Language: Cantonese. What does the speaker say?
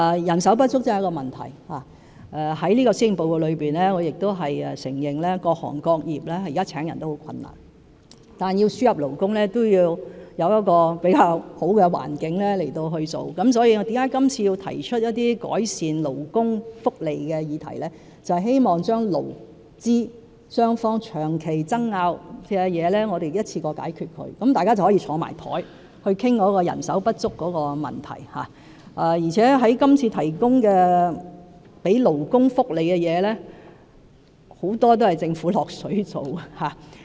人手不足確實是個問題，在這份施政報告中，我亦承認各行各業現時聘請人手都很困難，但要輸入勞工，也必須有較佳的環境，所以，我今次提出一些改善勞工福利的議題，便是希望將勞資雙方長期爭拗的事情一次過解決，讓大家可以坐在一起，討論人手不足的問題，而且今次為勞工提供的福利，很多也是由政府"落水"做的。